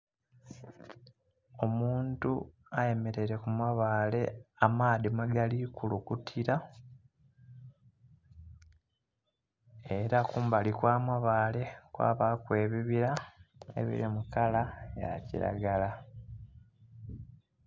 Omuntu ayemereire ku mabaale amaadhi mwegali kulukutira era kumbali kwa mabaale kwabaaku ebibira ebiri mu kala ya kiragala